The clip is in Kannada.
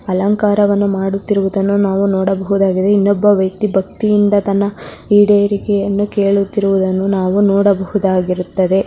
ಅಲಂಕಾರ ಮಾಡುತ್ತಿರುವುದನ್ನು ನಾವು ನೋಡಬಹುದಾಗಿದೆ ಇನ್ನೊಬ್ಬ ವ್ಯಕ್ತಿ ಭಕ್ತಿಯಿಂದ ತನ್ನ ಈಡೇರಿಕೆಯನ್ನು ಕೇಳುತ್ತಿರುವುದನ್ನು ನಾವು ನೋಡಬಹುದಾಗಿರುತ್ತದೆ.